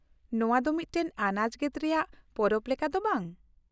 ᱱᱚᱶᱟ ᱢᱤᱫᱴᱟᱝ ᱟᱱᱟᱡ ᱜᱮᱫ ᱨᱮᱭᱟᱜ ᱯᱚᱨᱚᱵ ᱞᱮᱠᱟ ᱫᱚ ᱵᱟᱝ ?